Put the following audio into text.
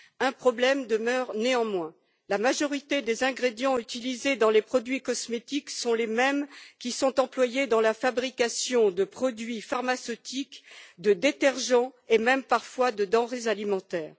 Un problème demeure néanmoins la majorité des ingrédients utilisés dans les produits cosmétiques sont les mêmes que ceux qui sont employés dans la fabrication de produits pharmaceutiques, de détergents et même parfois de denrées alimentaires.